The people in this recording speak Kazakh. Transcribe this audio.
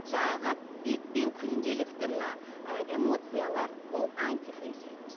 жаңағы бетпен күнделікті мына ы эмоциялар ол антифейс фитнес